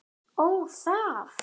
Ó, það!